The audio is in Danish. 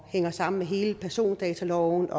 hænger sammen med hele persondataloven